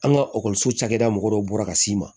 An ka cakɛda mɔgɔw bɔra ka s'i ma